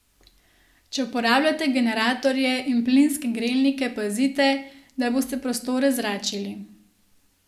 Če uporabljate generatorje in plinske grelnike pazite, da boste prostore zračili.